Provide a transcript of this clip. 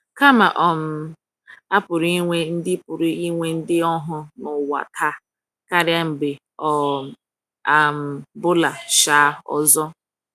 kama um, a pụrụ inwe ndị pụrụ inwe ndị ohu n’ụwa taa karịa mgbe ọ um bụla um ọzọ!